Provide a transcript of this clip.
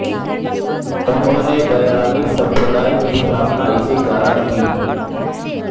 उन्होंने वैरागी संप्रदाय की स्थापना इसी कारण की